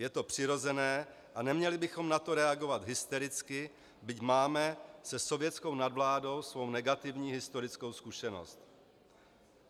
Je to přirozené a neměli bychom na to reagovat hystericky, byť máme se sovětskou nadvládou svou negativní historickou zkušenost.